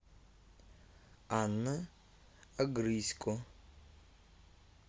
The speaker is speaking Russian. анна огрызько